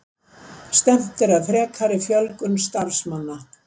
Stefnt að frekari fjölgun starfsmanna